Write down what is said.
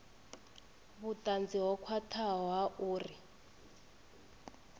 vhutanzi ho khwathaho ha uri